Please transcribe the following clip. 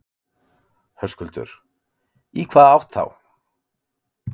Höskuldur: Í hvaða átt þá?